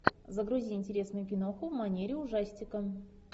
загрузи интересную киноху в манере ужастика